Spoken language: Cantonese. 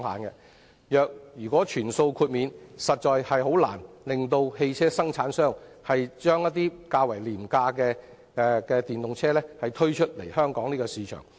如全數豁免的話，汽車生產商實在難以把較廉價的電動車推出香港市場。